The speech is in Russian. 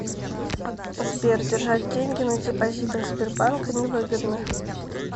сбер держать деньги на депозитах сбербанка невыгодно